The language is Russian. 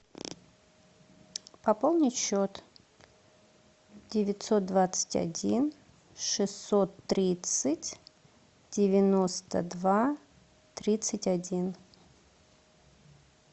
пополнить счет девятьсот двадцать один шестьсот тридцать девяносто два тридцать один